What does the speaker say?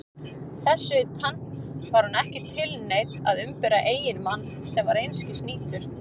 Þess utan: var hún ekki tilneydd að umbera eiginmann sem var einskis nýtur?